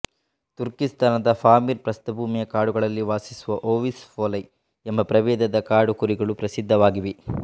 ತುರ್ಕಿಸ್ತಾನದ Pamir ಪ್ರಸ್ಥಭೂಮಿಯ ಕಾಡುಗಳಲ್ಲಿ ವಾಸಿಸುವ ಓವಿಸ್ ಪೋಲೈ ಎಂಬ ಪ್ರಭೇದದ ಕಾಡು ಕುರಿಗಳು ಪ್ರಸಿದ್ಧವಾಗಿವೆ